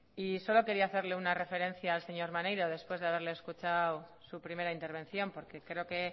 y solo quería hacerle una referencia al señor maneiro después de haberle escuchado su primera intervención porque creo que